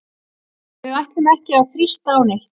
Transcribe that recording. Við ætlum ekki að þrýsta á neitt.